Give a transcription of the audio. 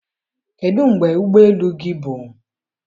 kedụ mgbe ụgbọ elu gị bụ